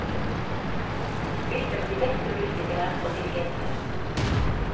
Hun spilte med de beste musikere og dirigenter.